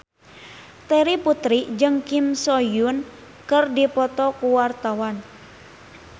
Terry Putri jeung Kim So Hyun keur dipoto ku wartawan